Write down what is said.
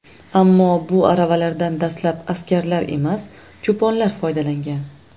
Ammo bu aravalardan dastlab askarlar emas, cho‘ponlar foydalangan.